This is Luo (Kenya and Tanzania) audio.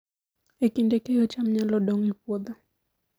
E kinde keyo, cham nyalo dong' e puothe